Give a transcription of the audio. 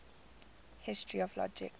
history of logic